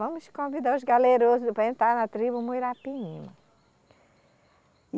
Vamos convidar os galerosos para entrar na tribo Muirapinima.